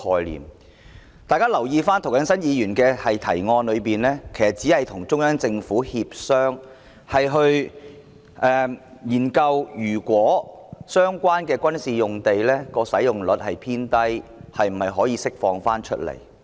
請大家留意，在涂謹申議員的原議案中，其實只是建議與中央人民政府協商，研究若相關的軍事用地使用率偏低，是否可以釋放出來。